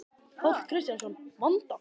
Páll Kristjánsson: Vanda?